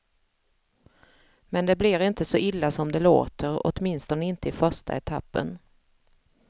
Men det blir inte så illa som det låter, åtminstone inte i första etappen.